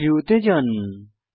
3ডি ভিউতে যান